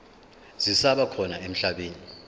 zisaba khona emhlabeni